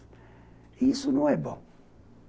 E isso não é bom.